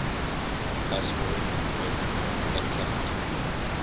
aspirin with a capital